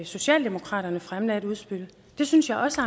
socialdemokratiet fremlagde et udspil det synes jeg også